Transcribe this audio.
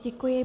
Děkuji.